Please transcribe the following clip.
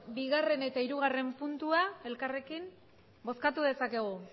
bigarrena eta hirugarrena puntua elkarrekin bozkatu dezakegu